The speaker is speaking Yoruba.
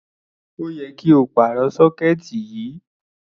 Ó yẹ kí á pàrọ̀ sọ́kẹ́ẹ̀tì yìí.